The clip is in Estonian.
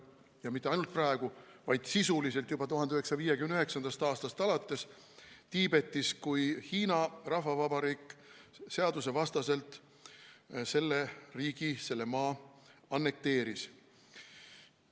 Ja mitte ainult praegu, vaid sisuliselt juba 1959. aastast alates, kui Hiina Rahvavabariik seadusevastaselt selle riigi, selle maa annekteeris.